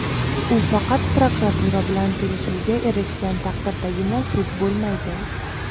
u faqat prokuratura bilan kelishuvga erishgan taqdirdagina sud bo‘lmaydi.